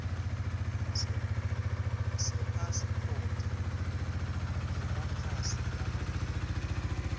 sepasiphoti yemakhasi lamanyenti